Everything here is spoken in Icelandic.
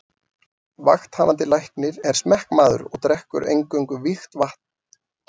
Vakthafandi Læknir er smekkmaður og drekkur eingöngu vígt vatn.